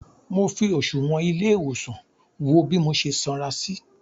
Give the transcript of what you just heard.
Mọ fi òsùwọ́n ilé ìwòsàn wo bí mo ṣe sanra sí.